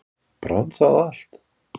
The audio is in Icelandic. Brann það allt?